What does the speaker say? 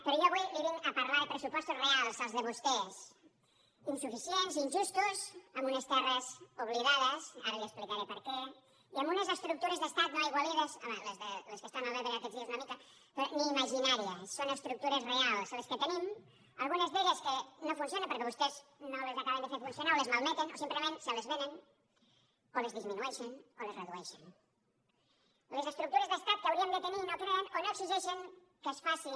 però jo avui li vinc a parlar de pressupostos reals els de vostès insuficients injustos amb unes terres oblidades ara li explicaré per què i amb unes estructures d’estat no aigualides home les que estan a l’ebre aquest dies una mica però ni imaginàries són estructures reals les que tenim algunes d’elles que no funcionen perquè vostès no les acaben de fer funcionar o les malmeten o simplement se les venen o les disminueixen o les redueixen les estructures d’estat que hauríem de tenir i no creen o no exigeixen que es facin